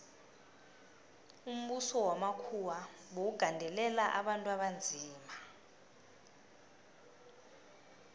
umbuso wamakhuwa bewugandelela abantu abanzima